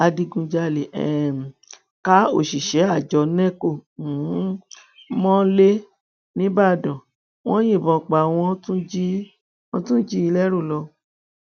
adigunjalè um ká òṣìṣẹ àjọ neco um mọlẹ nígbàdàn wọn yìnbọn pa á wọn tún jí i lẹrù lọ